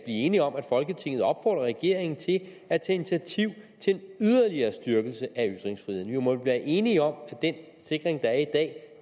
enige om at folketinget opfordrer regeringen til at tage initiativ til en yderligere styrkelse af ytringsfriheden vi må vel være enige om at den sikring der er i dag